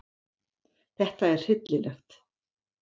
Þetta er hryllilegt